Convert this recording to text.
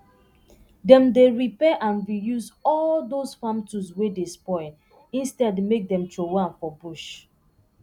dem dy repair and reuse all dose farm tools wey dey spoil instead make dem trowey am for bush